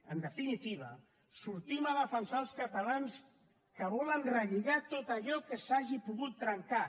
en definitiva sortim a defensar els catalans que volen relligar tot allò que s’hagi pogut trencar